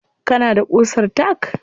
Kana da ƙusar tack?